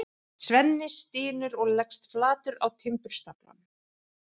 Svenni stynur og leggst flatur á timburstaflann.